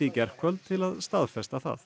gærkvöld til að staðfesta það